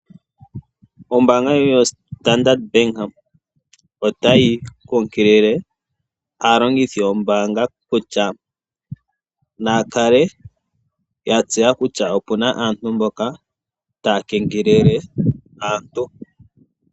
Ombaanga ndjono yoStandard bank otayi nkunkilile aalongithi yombaanga kutya naya kale yatseya kutya opuna aantu mboka taya kengelele aantu.